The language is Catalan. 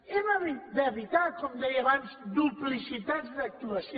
hem d’evitar com deia abans duplicitats d’actuació